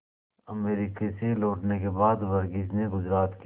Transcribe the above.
America से लौटने के बाद वर्गीज ने गुजरात के